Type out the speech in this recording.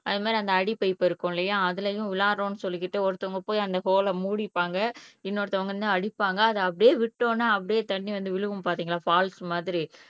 அதே மாதிரி அந்த அடி பைப் இருக்கும் இல்லையா அதுலயும் உள்ளாரோ என்று சொல்லிக்கிட்டு ஒருத்தவங்க போயி அந்த ஹோல போய் மூடிப்பாங்க இன்னொருத்தவங்க வந்து அடிப்பாங்க அது அப்படியே விட்டோம்னா அப்படியே தண்ணி வந்து விழுகும் பாத்தீங்களா ஃபால்ஸ் மாதிரி